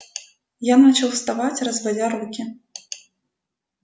я начал вставать разводя руки